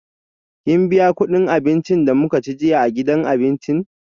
Kin biya kudin abincin da muka ci jiya a gidan abinci?